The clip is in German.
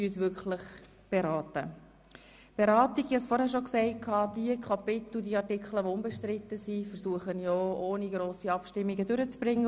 Diejenigen Artikel, die unbestritten sind, versuche ich, ohne grosse Abstimmungen durchzubringen.